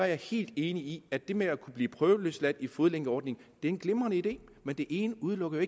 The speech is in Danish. jeg helt enig i at det med at kunne blive prøveløsladt til en fodlænkeordning er en glimrende idé men det ene udelukker